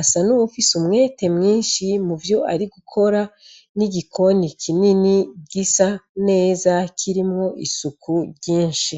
afise umwete mwinshi muvyo arigukora n'igikoni kinini gisa neza kirimwo isuku ryinshi.